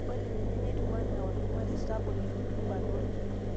Ore ninye netiu enaa olchumati sapuk le rutubaa oorkiek.